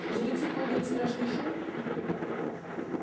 жрецы подняли страшный шум